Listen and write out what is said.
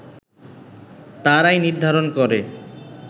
তারাই নির্ধারণ করে